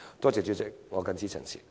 多謝代理主席，我謹此陳辭。